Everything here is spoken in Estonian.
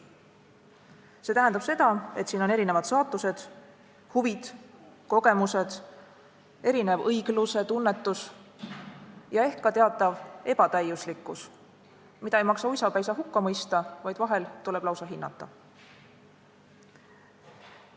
See tähendab seda, et siin on erinevad saatused, huvid, kogemused, erinev õiglusetunnetus ja ehk ka teatav ebatäiuslikkus, mida ei maksa uisapäisa hukka mõista, vaid vahel tuleb lausa hinnata.